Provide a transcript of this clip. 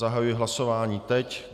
Zahajuji hlasování teď.